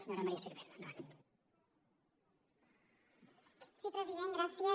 sí president gràcies